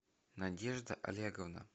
надежда олеговна